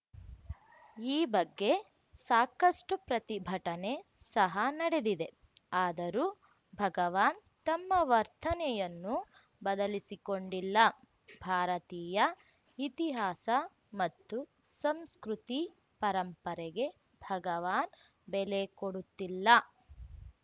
ಈ ಬಗ್ಗೆ ಸಾಕಷ್ಟುಪ್ರತಿಭಟನೆ ಸಹ ನಡೆದಿದೆ ಆದರೂ ಭಗವಾನ್‌ ತಮ್ಮ ವರ್ತನೆಯನ್ನು ಬದಲಿಸಿಕೊಂಡಿಲ್ಲ ಭಾರತೀಯ ಇತಿಹಾಸ ಮತ್ತು ಸಂಸ್ಕೃತಿ ಪರಂಪರೆಗೆ ಭಗವಾನ್‌ ಬೆಲೆ ಕೊಡುತ್ತಿಲ್ಲ